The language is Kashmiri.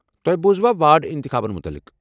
تۄہہِ بوٗزوا واڈ انتخاباتن متعلق؟